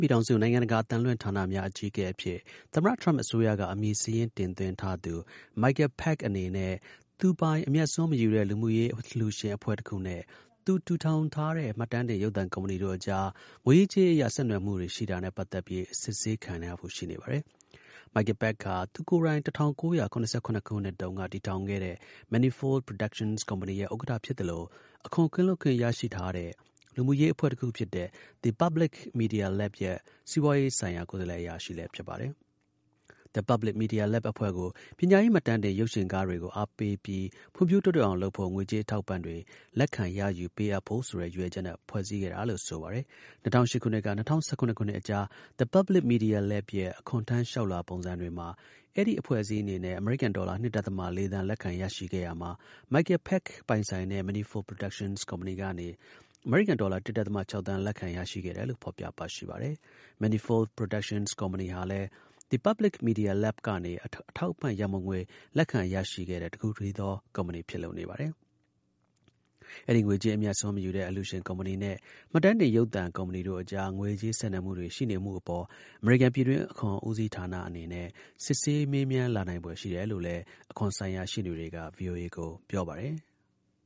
ပြည်ထောင်စု နိုင်ငံတကာ အသံလွှင့် ဌာနများ အကြီးအကဲအဖြစ် သမ္မတ ထရမ့် အစိုးရက အမည်စာရင်း တင်သွင်းထားသူ Michael Pack အနေနဲ့ သူ့ပိုင် အမြတ်အစွန်း မယူတဲ့ လူမှုရေးအလှူရှင်အဖွဲ့တစ်ခုနဲ့ သူတည်ထောင်ထားတဲ့ မှတ်တမ်းတင် ရုပ်သံ ကုမ္ပဏီတို့ အကြား ငွေရေးကြေးရေးအရ ဆက်နွယ်မှုတွေနဲ့ ပတ်သက် ပြီး စစ်ဆေးခံရဖို့ ရှိနေပါတယ်။ Michael Pack ဟာ သူကိုယ်တိုင် ၁၉၇၇ခုနှစ်တုန်းက တည်ထောင်ခဲ့တဲ့ Manifold Productions ကုမ္ပဏီရဲ့ ဥက္ကဌ ဖြစ်သလို အခွန် ကင်းလွတ်ခွင့်ရရှိတဲ့ လူမှုရေးအဖွဲ့တစ်ခုဖြစ်တဲ့ The Public Media Lab ရဲ့ စီးပွားရေးဆိုင်ရာ ကိုယ်စားလှယ် အရာရှိလည်း ဖြစ်ပါတယ်။ The Public Media Lab အဖွဲ့ကို ပညာရေး မှတ်တမ်းတင် ရုပ်ရှင်ကားတွေကို အားပေးပြီး ဖွံ့ဖြိုးတိုးတက်အောင်လုပ်ဖို့ ငွေကြေး အထောက်အပံ့တွေ လက်ခံရယူ ပေးအပ်ဖို့ဆိုတဲ့ ရည်ရွယ်ချက်နဲ့ ဖွဲ့စည်းခဲ့တာလို့ ဆိုပါတယ်။ ၂၀၀၈ ခုနှစ်က ၂၀၁၇ ခုနှစ်အကြား The Public Media Lab ရဲ့ အခွန်ထမ်း လျှောက်လွှာ ပုံစံတွေမှာ အဲဒီ အဖွဲ့အစည်းအနေနဲ့ အမေရိကန် ဒေါ်လာ ၂.၄ သန်း လက်ခံ ရရှိခဲ့ရာမှာ Michael Pack ပိုင်တဲ့ Manifold Productions ကုမ္ပဏီကနေ အမေရိကန် ဒေါ်လာ ၁.၆ သန်း လက်ခံ ရရှိခဲ့တယ်လို့ ဖော်ပြပါရှိပါတယ်။Manifold Productions ကုမ္ပဏီဟာလည်း The Public Media Lab ကနေ အထောက်အပံ့ ရန်ပုံငွေ လက်ခံ ရရှိတဲ့ တစ်ခုတည်းသော ကုမ္ပဏီ ဖြစ်လို့နေပါတယ်။ အဲဒီ ငွေကြေး အမြတ်အစွန်း မယူတဲ့ အလှူရှင် ကုမ္ပဏီနဲ့ မှတ်တမ်းတင် ရုပ်သံ ကုမ္ပဏီတို့အကြား ငွေကြေး ဆက်နွယ်မှုတွေ ရှိနေမှုအပေါ် အမေရိကန် ပြည်တွင်း အခွန်ဦးစီးဌာနနဲ့ စစ်ဆေး မေးမြန်း လာနိုင်ဖွယ်ရှိတယ်လို့လည်း အခွန်ဆိုင်ရာ ရှေ့နေတွေက ဗွီအိုအေကို ပြောပါတယ်။